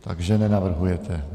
Takže nenavrhujete.